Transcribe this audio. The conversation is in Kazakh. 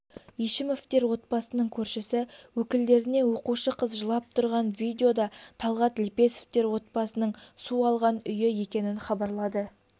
ешімовтер отбасының көршісі өкілдеріне оқушы қыз жылап тұрған видеода талғат лепесовтер отбасының су алған үйі екенінхабарлады